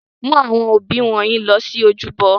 Mu awọn obí wọnyi lọ si ojúbọ!